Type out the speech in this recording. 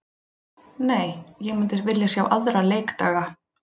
Nei, ég myndi vilja sjá aðra leikdaga.